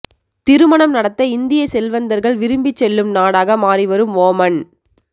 திருமணம் நடத்த இந்திய செல்வந்தர்கள் விரும்பிச் செல்லும் நாடாக மாறிவரும் ஓமன்